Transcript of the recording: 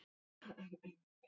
hélt Smári áfram.